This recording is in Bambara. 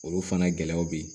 Olu fana gɛlɛyaw bɛ ye